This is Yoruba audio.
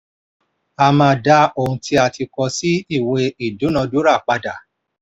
a máa da ohun tí a tí a kọ sí ìwé ìdúnadúrà padà.